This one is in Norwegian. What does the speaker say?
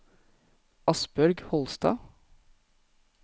Asbjørg Holstad